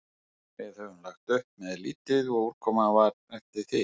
Við höfðum lagt upp með lítið og útkoman var eftir því.